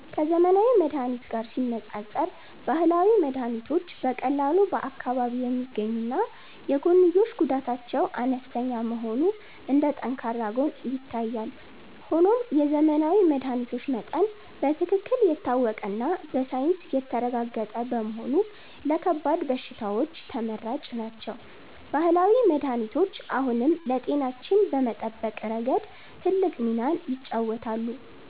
ከዘመናዊ መድኃኒት ጋር ሲነፃፀር፣ ባህላዊ መድኃኒቶች በቀላሉ በአካባቢ የሚገኙና የጎንዮሽ ጉዳታቸው አነስተኛ መሆኑ እንደ ጠንካራ ጎን ይታያል። ሆኖም የዘመናዊ መድኃኒቶች መጠን በትክክል የታወቀና በሳይንስ የተረጋገጠ በመሆኑ ለከባድ በሽታዎች ተመራጭ ናቸው። ባህላዊ መድኃኒቶች አሁንም ለጤናችን በመጠበቅ ረገድ ትልቅ ሚናን ይጫወታሉ።